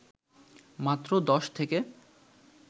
মাত্র দশ থেকে